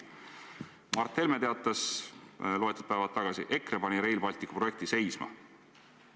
Mart Helme teatas loetud päevad tagasi, et EKRE pani Rail Balticu projekti seisma.